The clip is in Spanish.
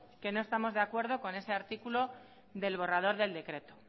que no estamos de acuerdo con ese artículo del borrador del decreto